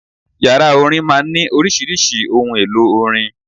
Yàrá orin máa ń ní oríṣiríṣi ohun-èlò orin.